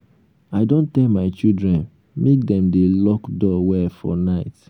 i don tell my children make dem dey lock door well for night